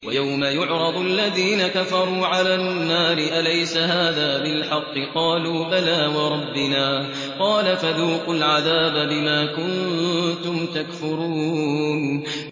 وَيَوْمَ يُعْرَضُ الَّذِينَ كَفَرُوا عَلَى النَّارِ أَلَيْسَ هَٰذَا بِالْحَقِّ ۖ قَالُوا بَلَىٰ وَرَبِّنَا ۚ قَالَ فَذُوقُوا الْعَذَابَ بِمَا كُنتُمْ تَكْفُرُونَ